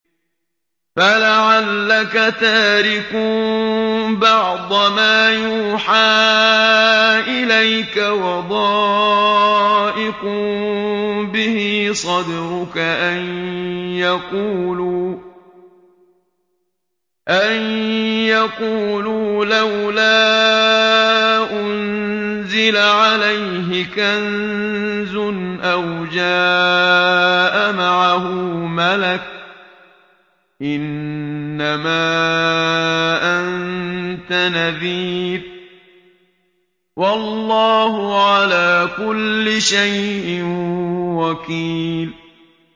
فَلَعَلَّكَ تَارِكٌ بَعْضَ مَا يُوحَىٰ إِلَيْكَ وَضَائِقٌ بِهِ صَدْرُكَ أَن يَقُولُوا لَوْلَا أُنزِلَ عَلَيْهِ كَنزٌ أَوْ جَاءَ مَعَهُ مَلَكٌ ۚ إِنَّمَا أَنتَ نَذِيرٌ ۚ وَاللَّهُ عَلَىٰ كُلِّ شَيْءٍ وَكِيلٌ